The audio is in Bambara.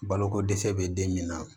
Baloko dɛsɛ bɛ den min na